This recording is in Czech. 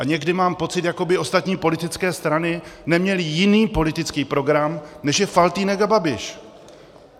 A někdy mám pocit, jako by ostatní politické strany neměly jiný politický program, než je Faltýnek a Babiš.